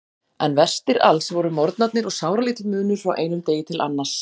En verstir alls voru morgnarnir og sáralítill munur frá einum degi til annars.